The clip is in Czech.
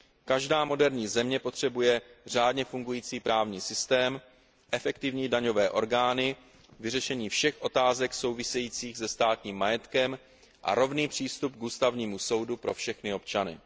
Každá moderní země potřebuje řádně fungující právní systém, efektivní daňové orgány, vyřešení všech otázek souvisejících se státním majetkem a rovný přístup k ústavnímu soudu pro všechny občany.